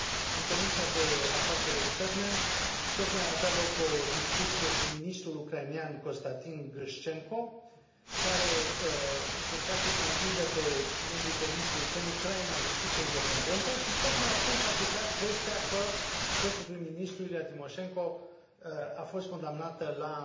În Comisia pentru afaceri externe tocmai avea loc o discuție cu ministrul ucrainean, Konstantin Grișcenko, care încerca să îi convingă pe membrii comisiei că în Ucraina justiția e independentă, și tocmai atunci a picat vestea că fostul prim ministru, Iulia Timoșenko, a fost condamnată la